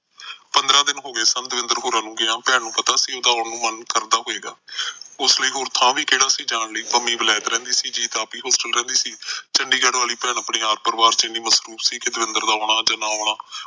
ਪੰਦਰਾਂ ਦਿਨ ਹੋ ਗਏ ਸਨ ਦਵਿੰਦਰ ਹੋਰਾਂ ਨੂੰ ਗਿਆ ਭੈਣ ਨੂੰ ਪਤਾ ਸੀ ਕਿ ਉਹਦਾ ਆਉਣ ਨੂੰ ਮਨ ਕਰਦਾ ਹੋਏਗਾ ਉਸ ਲਈ ਹੋਰ ਥਾ ਵੀ ਕਿਹੜਾ ਸੀ ਜਾਣ ਲਈ ਪਮੀ ਵਲੈਤ ਰਹਿੰਦੀ ਸੀ ਜੀਤ ਤਾ ਆਪ ਵੀ ਹੋਸਟਲ ਰਹਿੰਦੀ ਸੀ ਚੰਡੀਗੜ ਵਾਲੀ ਭੈਣ ਆਪਣੇ ਪਰਿਵਾਰ ਚ ਇੰਨੀ ਮਸਰੂਮ ਸੀ ਕਿ ਦਵਿੰਦਰ ਦਾ ਆਉਣਾ ਜਾ ਨਾ ਆਉਣਾ